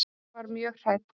Þá var hún mjög hrædd.